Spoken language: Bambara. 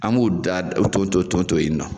An b'o da o tonto tonto tonto yen nɔ